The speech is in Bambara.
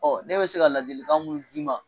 ne bɛ se ka ladilikan mun d'i ma.